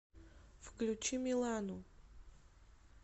включи милану